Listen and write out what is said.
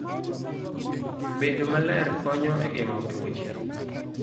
Bedo maler konyo e geng'o tuoche.